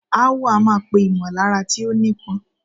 Aáwọ̀ a máa pè ìmọ̀lára tí ó nípọn.